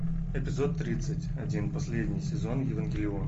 эпизод тридцать один последний сезон евангелион